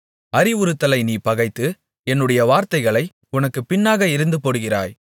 அறிவுறுத்துதலை நீ பகைத்து என்னுடைய வார்த்தைகளை உனக்குப் பின்னாக எறிந்துபோடுகிறாய்